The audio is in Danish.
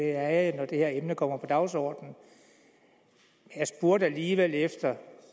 er jeg når det her emne kommer på dagsordenen jeg spurgte alligevel efter